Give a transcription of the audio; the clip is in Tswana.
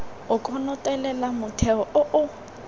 o konotelela motheo o o